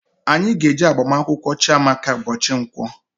Anyị ga eje agbamunkwu Chiamaka mbochi Nkwo